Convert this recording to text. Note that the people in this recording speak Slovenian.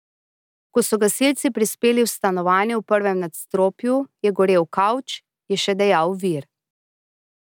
Ko so gasilci prispeli v stanovanje v prvem nadstropju, je gorel kavč, je še dejal vir.